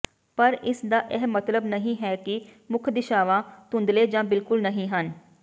ਪਰ ਇਸ ਦਾ ਇਹ ਮਤਲਬ ਨਹੀਂ ਹੈ ਕਿ ਮੁੱਖ ਦਿਸ਼ਾਵਾਂ ਧੁੰਦਲੇ ਜਾਂ ਬਿਲਕੁਲ ਨਹੀਂ ਹਨ